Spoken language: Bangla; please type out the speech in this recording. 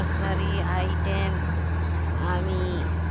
grocery item আমি